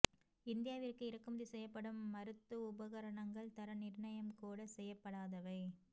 இந்தியாவிற்கு இறக்குமதி செய்யப்படும் மருத்து உபகரணங்கள் தர நிர்ணயம் கூட செய்யப்படாதவை